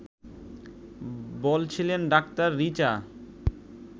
বলছিলেন ডাক্তার রিচা